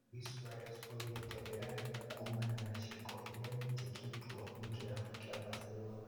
Luis Suarez oigĩte "ndĩrarĩga kuumana na ciĩko iria nyĩkĩtwo nĩ kĩrabu kĩa Barcelona